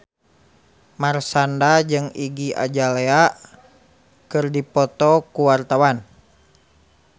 Marshanda jeung Iggy Azalea keur dipoto ku wartawan